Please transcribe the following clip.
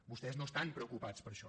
vostès no estan preocupats per això